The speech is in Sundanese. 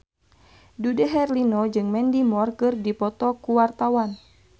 Dude Herlino jeung Mandy Moore keur dipoto ku wartawan